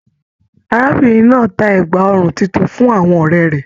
Arábìnrin náà tá ẹgba ọrùn títún fún àwọn ọrẹ rẹ.